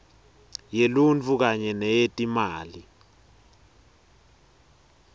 yeluntfu kanye neyetimali